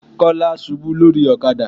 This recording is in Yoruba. Kọ́lá ṣubú lórí ọ̀kadà.